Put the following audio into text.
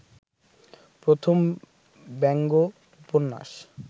প্রথম ব্যঙ্গ উপন্যাস